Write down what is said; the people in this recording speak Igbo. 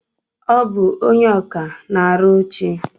Ọ bụ ónyé ọkà na-arụ oche.